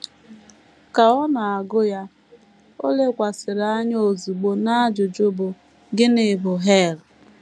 Ka ọ na - agụ ya, o lekwasịrị anya ozugbo n’ajụjụ bụ́: “ Gịnị bụ hel? ”